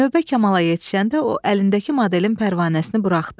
Növbə Kamala yetişəndə o əlindəki modelin pərvanəsini buraxdı.